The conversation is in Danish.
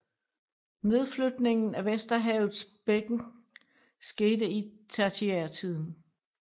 Nedflytningen af Vesterhavets bækken skete i tertiærtiden